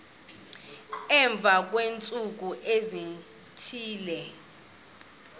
emva kweentsuku ezithile